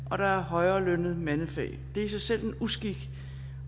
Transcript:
at der er højere lønnede mandefag det er i sig selv en uskik